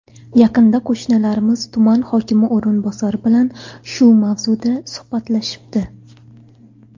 Yaqinda qo‘shnilarimiz tuman hokimi o‘rinbosari bilan shu mavzuda suhbatlashibdi.